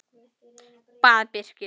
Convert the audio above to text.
bað Birkir.